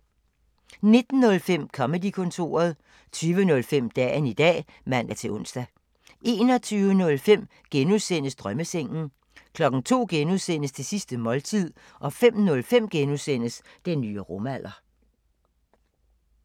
19:05: Comedy-kontoret 20:05: Dagen i dag (man-ons) 21:05: Drømmesengen (G) 02:00: Det sidste måltid (G) 05:05: Den nye rumalder (G)